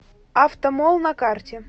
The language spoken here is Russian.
автомолл на карте